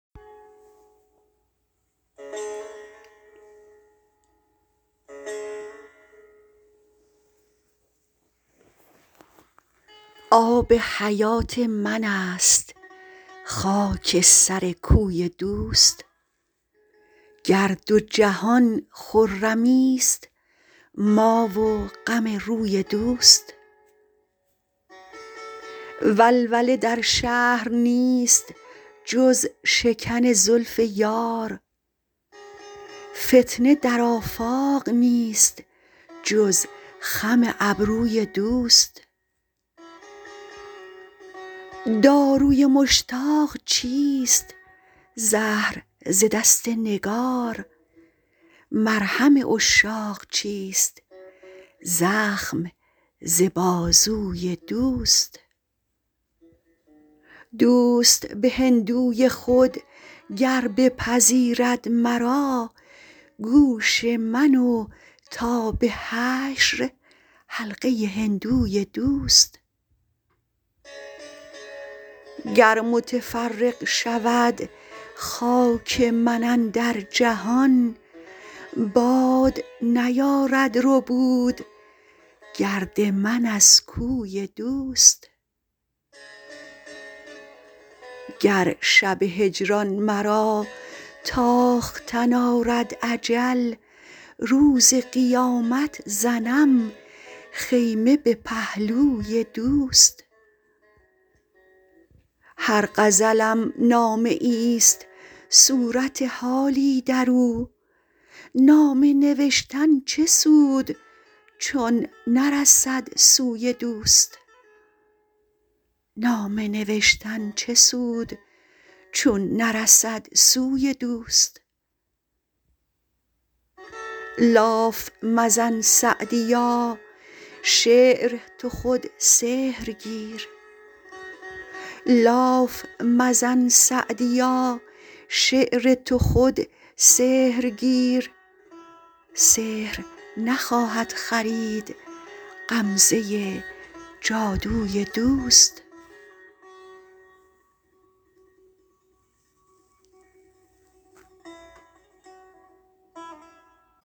آب حیات من است خاک سر کوی دوست گر دو جهان خرمیست ما و غم روی دوست ولوله در شهر نیست جز شکن زلف یار فتنه در آفاق نیست جز خم ابروی دوست داروی مشتاق چیست زهر ز دست نگار مرهم عشاق چیست زخم ز بازوی دوست دوست به هندوی خود گر بپذیرد مرا گوش من و تا به حشر حلقه هندوی دوست گر متفرق شود خاک من اندر جهان باد نیارد ربود گرد من از کوی دوست گر شب هجران مرا تاختن آرد اجل روز قیامت زنم خیمه به پهلوی دوست هر غزلم نامه ایست صورت حالی در او نامه نوشتن چه سود چون نرسد سوی دوست لاف مزن سعدیا شعر تو خود سحر گیر سحر نخواهد خرید غمزه جادوی دوست